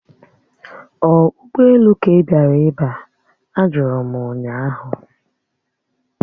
Ọ ụgbọelu ka ị bịara iba? Ajụrụ m ụnyaahụ